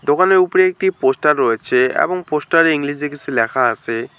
দোকানের ওপরে একটি পোস্টার রয়েছে এবং পোস্টারে ইংলিজে কিছু লেখা আছে।